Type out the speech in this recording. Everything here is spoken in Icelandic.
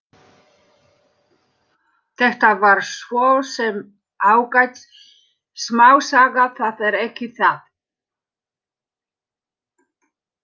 Þetta var svo sem ágæt smásaga, það er ekki það.